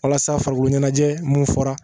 Walasa farikolo ɲɛnajɛ mun fɔra